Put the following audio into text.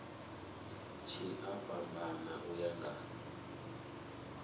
tshi a fhambana u ya